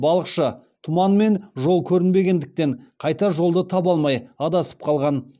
балықшы тұман мен жол көрінбегендіктен қайтар жолды таба алмай адасып қалған